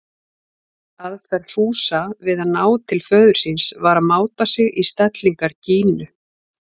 Aðferð Fúsa við að ná til föður síns var að máta sig í stellingar Gínu.